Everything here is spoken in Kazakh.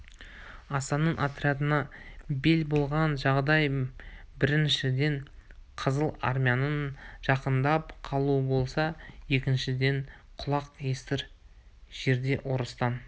асанның отрядына бел болған жағдай біріншіден қызыл армияның жақындап қалуы болса екіншіден құлақ естір жерде орыстан